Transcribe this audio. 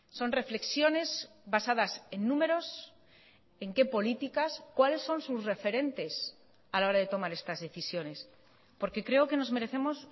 son reflexiones basadas en números en qué políticas cuáles son sus referentes a la hora de tomar estas decisiones porque creo que nos merecemos